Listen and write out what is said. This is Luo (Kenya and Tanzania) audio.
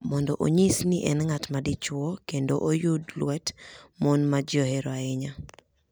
mondo onyis ni en ng’at ma dichwo kendo oyud lwet mon ma ji ohero ahinya.